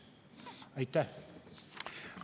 Aitäh!